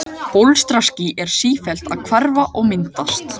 Bólstraský eru sífellt að hverfa og myndast.